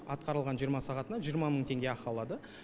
атқарылған жиырма сағатына жиырма мың теңге ақы алады